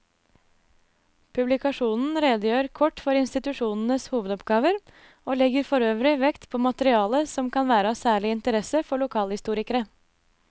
Publikasjonen redegjør kort for institusjonenes hovedoppgaver og legger forøvrig vekt på materiale som kan være av særlig interesse for lokalhistorikere.